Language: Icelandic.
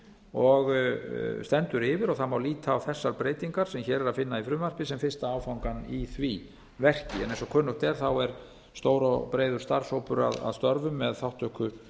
og stendur yfir og það má líta á þessar breytingar sem hér er að finna í frumvarpi sem fyrsta áfangann í því verki eins og kunnugt er er stór og breiður starfshópur að störfum með þátttöku